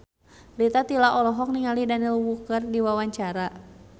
Rita Tila olohok ningali Daniel Wu keur diwawancara